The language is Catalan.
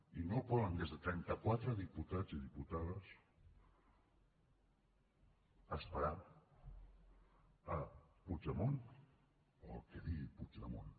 i no poden des de trenta quatre diputats i diputades esperar a puigdemont o al que digui puigdemont